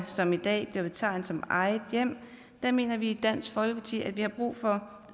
som i dag bliver betegnet som eget hjem mener vi i dansk folkeparti at vi har brug for